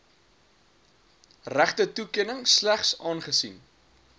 regtetoekenning slegs aangesien